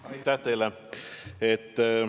Aitäh teile!